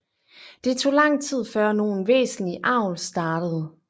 Det tog lang tid før nogen væsentlig avl startede